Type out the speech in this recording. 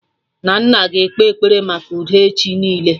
Nnanna ga-ekpe ekpere maka udo echi niile